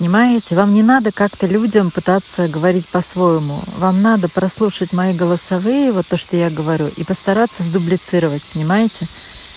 понимаете вам не надо как-то людям пытаться говорить по-своему вам надо прослушать мои голосовые вот то что я говорю и постараться сдублицировать понимаете